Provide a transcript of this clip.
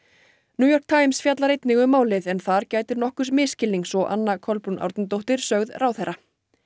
New York Times fjallar einnig um málið en þar gætir nokkurs misskilnings og Anna Kolbrún Árnadóttir sögð ráðherra